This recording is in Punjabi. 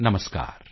ਨਮਸਕਾਰ